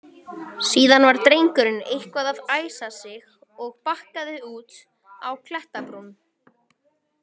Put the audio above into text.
Síðan var drengurinn eitthvað að æsa sig og bakkaði út á klettabrún.